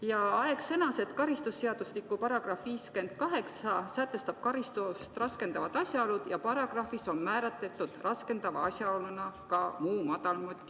Raivo Aeg sõnas, et karistusseadustiku § 58 sätestab karistust raskendavad asjaolud ja selles paragrahvis on raskendava asjaoluna ära märgitud ka "muu madal motiiv".